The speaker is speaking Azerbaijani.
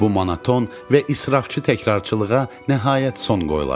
Bu monoton və israfçı təkrarcılığa nəhayət son qoyulacaq.